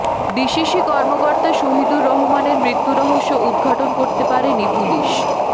DCC কর্মকর্তা শহীদুর রহমানের মৃত্যুরহস্য উদ্ঘাটন করতে পারেনি পুলিশ